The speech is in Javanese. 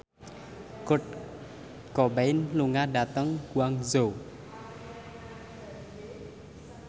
Kurt Cobain lunga dhateng Guangzhou